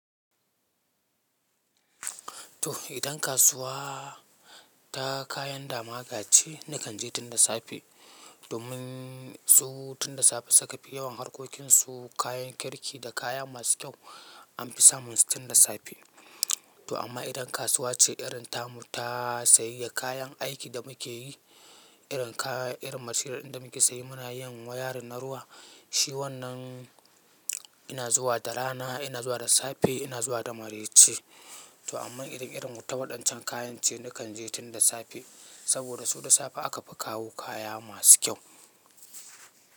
To idan kasuwa ta kayan dama gace nakan je tun da safe domin su tun da safe suka fi yawan harkokinsu kayan kirki da kaya masu kyau anfi samun su tun da safe. To amma idan kasuwa ce irin tamu ta sayayya kayan aiki da muke yi, irin kaya irin materials ɗin da muke sayi muna yin wayarin na ruwa, shi wannan ina zuwa da rana, ina zuwa da safe, ina zuwa da mareci. To amma idan irin wuta waɗancan kayan ce nakan je tun da safe saboda su da safe aka fi kawo kaya masu kyau.